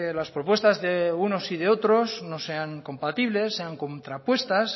las propuestas de unos y de otros no sean compatibles sean contrapuestas